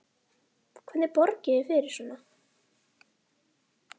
Hvernig borgið þið fyrir svona?